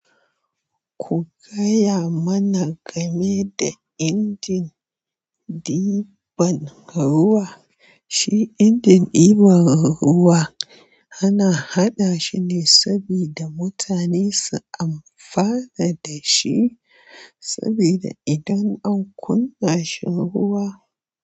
Ku gaya mana game da injin ɗiban ruwa. Shi injin ɗiban ruwa ana haɗa shi ne sabida mutane su amfana da shi, saboda idan an kunna shi ruwa.